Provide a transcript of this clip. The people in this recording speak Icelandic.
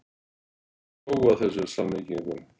Ég hló að þessum samlíkingum.